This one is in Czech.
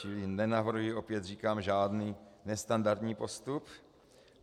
Čili nenavrhuji, opět říkám, žádný nestandardní postup.